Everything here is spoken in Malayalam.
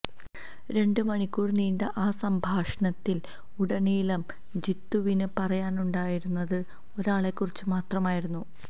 രണ്ടു മണിക്കൂര് നീണ്ട ആ സംഭാഷണത്തില് ഉടനീളം ജിത്തുവിന് പറയാനുണ്ടായിരുന്നത് ഒരാളെക്കുറിച്ച് മാത്രമായിരുന്നു